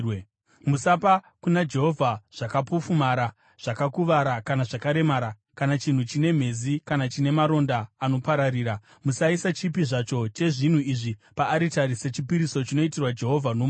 Musapa kuna Jehovha zvakapofumara, zvakakuvara kana zvakaremara, kana chinhu chine mhezi kana chine maronda anopararira. Musaisa chipi zvacho chezvinhu izvi paaritari sechipiriso chinoitirwa Jehovha nomoto.